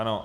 Ano.